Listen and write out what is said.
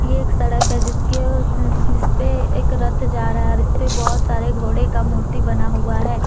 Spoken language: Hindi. एक सड़क है जिसके जिस पे एक रथ जा रहा है और इस पर बहुत सारे घोड़े का मूर्ति बना हुआ है।